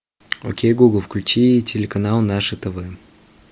окей гугл включи телеканал наше тв